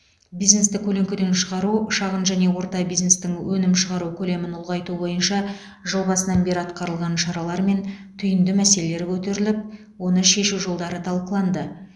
бизнесті көлеңкеден шығару шағын және орта бизнестің өнім шығару көлемін ұлғайту бойынша жыл басынан бері атқарылған шаралар мен түйінді мәселелер көтеріліп оны шешу жолдары талқыланды